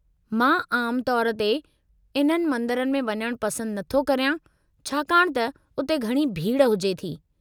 मां आमु तौरु ते इन्हनि मंदरनि में वञणु पसंदु नथो करियां छाकाणि त उते घणी भीड़ु हुजे थी।